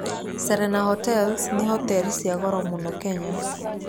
Serena Hotels nĩ hoteri cia goro mũno Kenya.